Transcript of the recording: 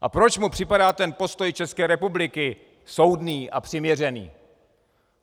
A proč mu připadá ten postoj České republiky soudný a přiměřený?